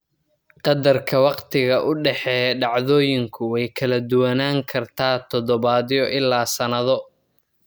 Qadarka wakhtiga u dhexeeya dhacdooyinku way kala duwanaan kartaa toddobaadyo ilaa sannado.